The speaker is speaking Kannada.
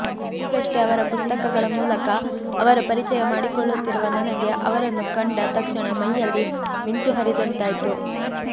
ಈಗಷ್ಟೇ ಅವರ ಪುಸ್ತಕಗಳ ಮೂಲಕ ಅವರ ಪರಿಚಯ ಮಾಡಿಕೊಳ್ಳುತ್ತಿರುವ ನನಗೆ ಅವರನ್ನು ಕಂಡ ತಕ್ಷಣ ಮೈಯಲ್ಲಿ ಮಿಂಚು ಹರಿದಂತಾಯ್ತು